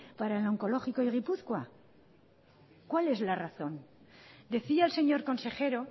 para el oncológico y gipuzkoa cuál es la razón decía el señor consejero